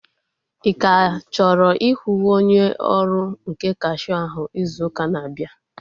Ị ka chọrọ ịhụ onye ọrụ nke kashia ahụ izu ụka na-abịa?